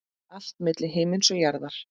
Allt milli himins og jarðar.